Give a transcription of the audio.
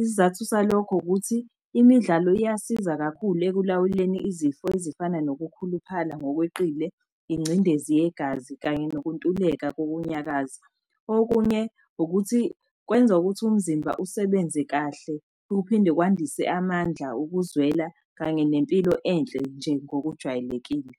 Isizathu salokho ukuthi imidlalo iyasiza kakhulu ekulawuleni izifo ezifana nokukhuluphala ngokweqile, ingcindezi yegazi, kanye nokuntuleka kokunyakaza. Okunye ukuthi kwenza ukuthi umzimba usebenze kahle uphinde kwandise amandla, ukuzwela kanye nempilo enhle nje ngokujwayelekile.